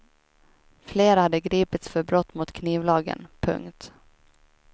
Flera hade gripits för brott mot knivlagen. punkt